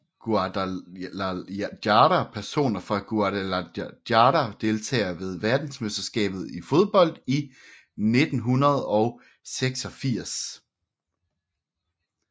Guadalajara Personer fra Guadalajara Deltagere ved verdensmesterskabet i fodbold 1986